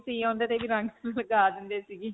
ਓਦੇ ਤੇ ਵੀ ਰੰਗ ਲਗਾ ਦਿੰਦੇ ਸੀ ਜੀ.